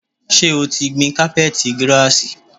Ṣé o ti gbìn cápẹ́t girasì?